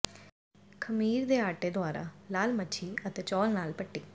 ਖਮੀਰ ਦੇ ਆਟੇ ਦੁਆਰਾ ਲਾਲ ਮੱਛੀ ਅਤੇ ਚੌਲ ਨਾਲ ਪੱਟੀ